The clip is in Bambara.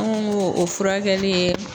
An ŋo ŋ'o o furakɛli ye